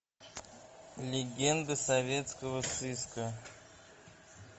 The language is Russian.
легенды советского сыска